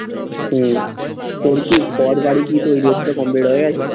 হম তোর কি complete হয়ে গেছে?